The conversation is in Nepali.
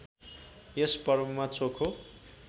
यस पर्वमा चोखो